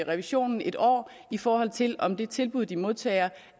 revisionen et år i forhold til om det tilbud de modtager